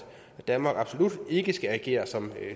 danmark absolut ikke skal agere som